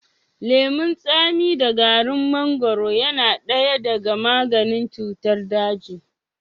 Lemun tsami da garin mangaro yana daya daga maganin cutar daji.